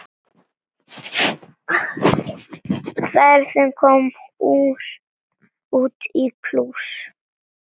Ferðin kom út í plús.